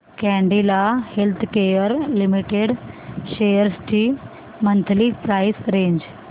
Cadila healthcare limited shares ची monthly price range